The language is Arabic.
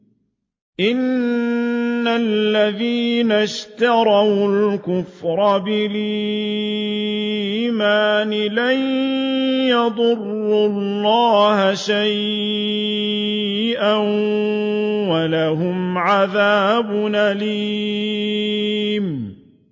إِنَّ الَّذِينَ اشْتَرَوُا الْكُفْرَ بِالْإِيمَانِ لَن يَضُرُّوا اللَّهَ شَيْئًا وَلَهُمْ عَذَابٌ أَلِيمٌ